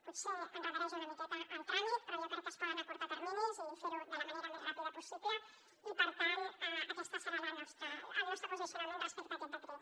potser endarrereix una miqueta el tràmit però jo crec que es poden acurtar terminis i fer ho de la manera més ràpida possible i per tant aquest serà el nostre posicionament respecte a aquest decret